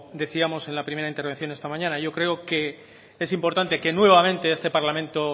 decíamos en la primera intervención esta mañana yo creo que es importante que nuevamente este parlamento